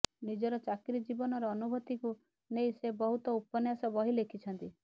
ନିଜର ଚାକିରି ଜୀବନର ଅନୁଭୂତିକୁ ନେଇ ସେ ବହୁତ ଉପନ୍ୟାସ ବହି ଲେଖିଛନ୍ତି